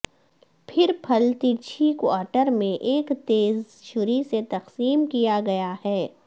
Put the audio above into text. پھر پھل ترچھی کوارٹر میں ایک تیز چھری سے تقسیم کیا گیا ہے